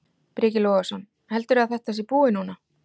Breki Logason: Heldurðu að þetta sé búið núna?